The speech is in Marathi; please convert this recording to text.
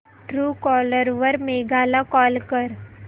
ट्रूकॉलर वर मेघा ला कॉल कर